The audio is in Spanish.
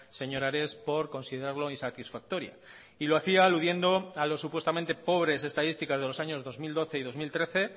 señor ares por considerarlo insatisfactoria y lo hacía aludiendo a lo supuestamente pobres estadísticas de los años dos mil doce y dos mil trece